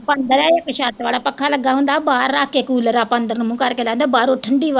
ਅੰਦਰੇ ਛੱਤ ਵਾਲਾ ਪੱਖਾ ਲੱਗਾ ਹੁੰਦਾ ਬਾਹਰ ਰੱਖ ਕੇ ਕੂਲਰ ਆਪਾਂ ਅੰਦਰ ਨੂੰ ਮੂੰਹ ਕਰਕੇ ਲਾਈਦਾ ਬਾਹਰੋਂ ਠੰਢੀ ਹਵਾ